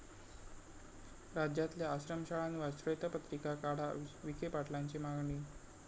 राज्यातल्या आश्रमशाळांवर श्वेतपत्रिका काढा, विखे पाटलांची मागणी